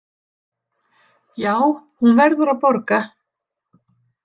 Já, hún verður að borga.